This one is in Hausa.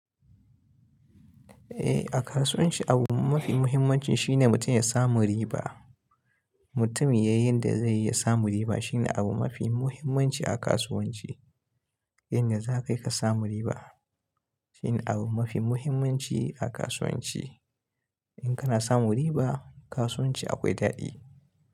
Eh, a kasuwanci abu mafi muhimmancin shine mutum ya samu riba. Mutum yayi yanda zai yi ya samu riba shine abu mafi muhimmanci a kasuwanci. Yanda za kai ka samu riba shine abu mafi muhimmanci a kasuwanci. In kana samun riba, kasuwanci akwai daɗi.